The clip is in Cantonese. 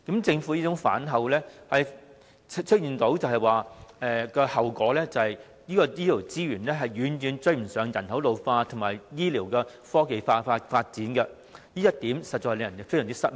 政府反口的結果是醫療資源遠不足以應付人口老化及醫療科技的發展，這一點實在令人感到非常失望。